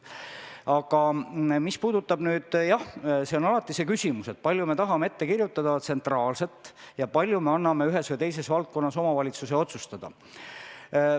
Alati on see küsimus, kui palju me tahame ette kirjutada tsentraalselt ja kui palju me anname ühes või teises valdkonnas omavalitsuse otsustada.